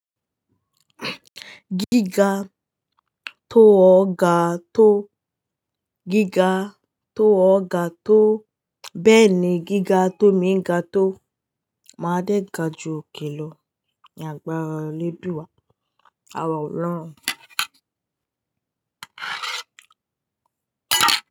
Gíga tó ọ̀ga tó, gíga tó ọ̀ga tó. Bẹ́ẹ̀ ni gíga tó méǹgà tó. Máa dẹ́ga ju òkèló ní agbára léduwa àwa ọlọ́run.